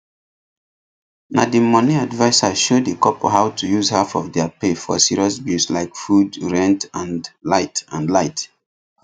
na the money adviser show the couple how to use half of their pay for serious bills like food rent and light and light